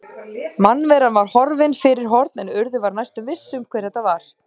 Mannveran var horfin fyrir horn en Urður var næstum viss um hver þetta var.